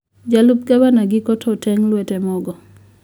jalup gavana giko to oteng` lwete mogo